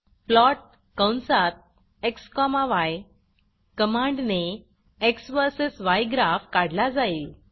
plot कंसात x y कमांडने x versus y graph काढला जाईल